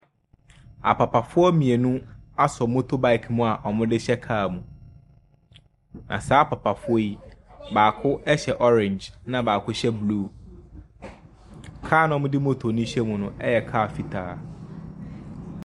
Papafoɔ mmienu asɔ motorbike mu a wɔde rehyɛ kaa mu, na saa apapafoɔ yi baako hyɛ orange na baako hyɛ blue, kaa no a ɔde moto no ɛrehyɛ mu no yɛ kaa fitaa.